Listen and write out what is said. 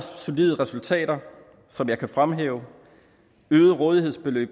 solide resultater som jeg kan fremhæve øget rådighedsbeløb